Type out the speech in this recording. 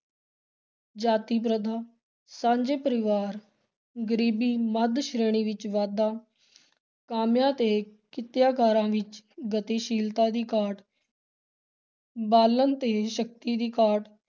ਜਾਤੀ ਪ੍ਰਥਾ, ਸਾਂਝੇ ਪਰਿਵਾਰ, ਗ਼ਰੀਬੀ, ਮੱਧ ਸ਼੍ਰੇਣੀ ਵਿਚ ਵਾਧਾ, ਕਾਮਿਆਂ ਤੇ ਕਿੱਤਾਕਾਰਾਂ ਵਿਚ ਗਤੀਸ਼ੀਲਤਾ ਦੀ ਘਾਟ ਬਾਲਣ ਤੇ ਸ਼ਕਤੀ ਦੀ ਘਾਟ,